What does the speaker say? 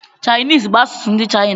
Chinese bú asụsụ ndị China